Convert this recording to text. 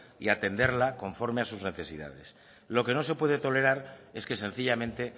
y atenderla conforme a sus necesidades lo que no se puede tolerar es que sencillamente